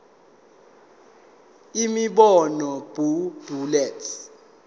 imibono b bullets